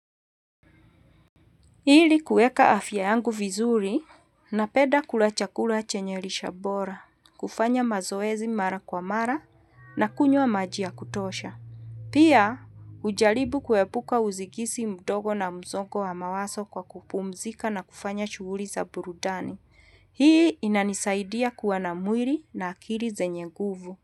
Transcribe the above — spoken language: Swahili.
Ili kuweka afya yangu vizuri, napenda kula chakula chenye lishe bora, kufanya mazoezi mara kwa mara na kunywa maji ya kutosha. Pia hujalrbu kuepuka usingizi mdogo na msongo wa mawazo kwa kupumzika na kufanya shughuli za burudani. Hii inanisaidia kuwa na mwili na akili zenye nguvu.